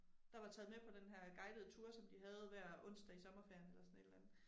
Der var taget med på denne her guidede tour som de havde hver onsdag i sommerferien eller sådan et eller andet